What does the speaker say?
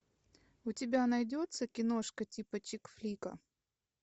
у тебя найдется киношка типа чикфлика